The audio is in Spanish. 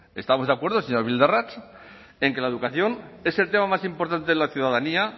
estamos de acuerdo señor bildarratz en que la educación es el tema más importante de la ciudadanía